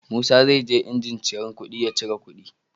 Musa zai je jinjin cirar kuɗi ya ciri kuɗi